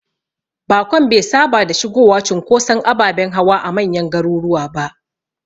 Bakon be saba da shigowa cunkoson ababen hawa a manyan garuruwa ba.